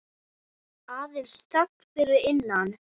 Aðeins þögnin fyrir innan.